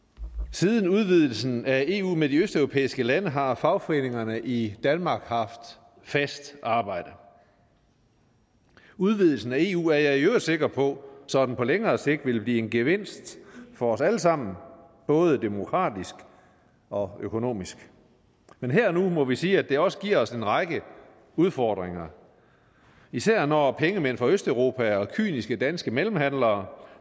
siden udvidelsen af eu med de østeuropæiske lande har fagforeningerne i danmark haft fast arbejde udvidelsen af eu er jeg i øvrigt sikker på sådan på længere sigt vil blive en gevinst for os alle sammen både demokratisk og økonomisk men her og nu må vi sige at det også giver os en række udfordringer især når pengemænd fra østeuropa og kyniske danske mellemhandlere